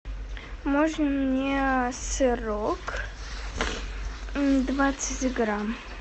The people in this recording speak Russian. можно мне сырок двадцать грамм